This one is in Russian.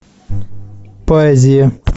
поэзия